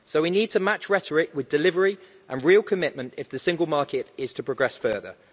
We need to match rhetoric with delivery and real commitment if the Single Market is to progress further.